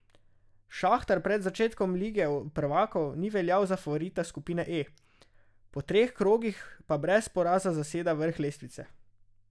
Šahtar pred začetkom Lige prvakov ni veljal za favorita skupine E, po treh krogih pa brez poraza zaseda vrh lestvice.